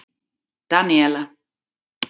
Daníela